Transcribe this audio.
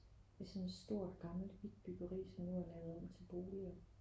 I sådan et stort gammelt hvidt byggeri som nu er lavet om til boliger